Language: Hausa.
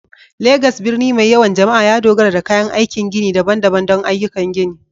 Legas, birni mai yawan jama'a, ya dogara da kayan aikin gini daban-daban don ayyukan gini